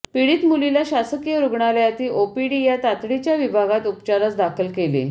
पीडित मुलीला शासकीय रुग्णालयातील ओपीडी या तातडीच्या विभागात उपचारास दाखल केले